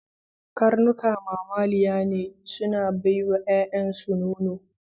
Karnuka mamaliya ne, suna bai wa yayansu nono.